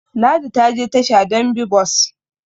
Ladi ta je tasha don bi bus